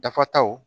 Dafataw